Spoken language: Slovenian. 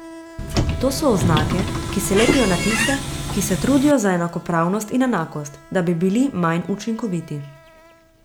To so oznake, ki se lepijo na tiste, ki se trudijo za enakopravnost in enakost, da bi bili manj učinkoviti.